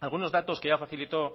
algunos datos que ya facilitó